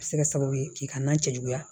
A bɛ se ka kɛ sababu ye k'i ka nan cɛ juguya